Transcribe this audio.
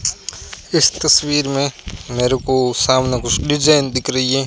इस तस्वीर में मेरे को सामने कुछ डिजाइन दिख रही है।